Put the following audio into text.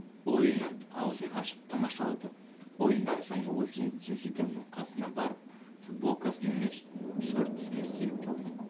ойынын аузын ашып тамашалады ойыннан соң ол зинедин зиданның қасына барып футболкасын емес шортысын естелікке алды